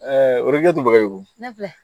o de tun bɛ wolo